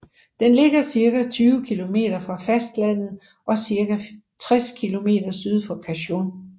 Den ligger cirka 20 km fra fastlandet og cirka 60 km syd for Cancún